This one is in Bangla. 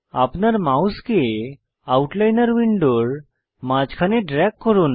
আপনার মাউসকে আউটলাইনর উইন্ডোর মাঝখানে ড্রেগ করুন